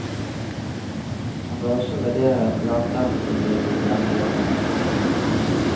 Han bør også vurdere lavterskeltilbud til denne gruppen.